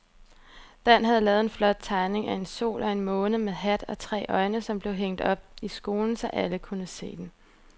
Dan havde lavet en flot tegning af en sol og en måne med hat og tre øjne, som blev hængt op i skolen, så alle kunne se den.